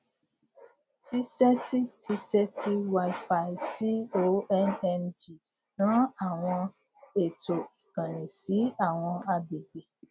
tizeti tizeti wifi conng ran àwọn ètò ìkànnì sí àwọn agbègbè